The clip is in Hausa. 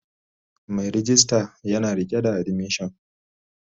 Mai rejista yana rike da admission